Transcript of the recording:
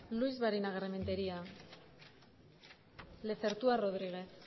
luix barinagarrementeria lezertua rodriguez